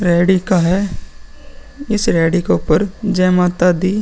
रेड़ी का है। इस रेड़ी के ऊपर जय माता दी --